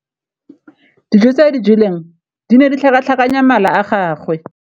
Dijô tse a di jeleng di ne di tlhakatlhakanya mala a gagwe.